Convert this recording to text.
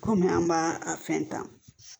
Kɔmi an b'a a fɛn ta